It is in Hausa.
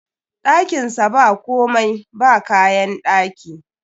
Ɗakin sa ba komai, ba kayan ɗaki